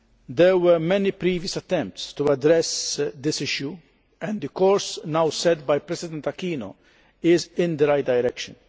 There were many previous attempts to address this issue and the course now set by President Aquino is in the right direction.